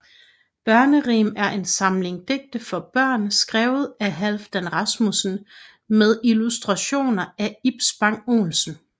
Børnerim er en samling digte for børn skrevet af Halfdan Rasmussen med illustrationer af Ib Spang Olsen